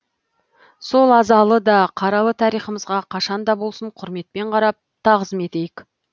сол азалы да қаралы тарихымызға қашанда болсын құрметпен қарап тағзым етейік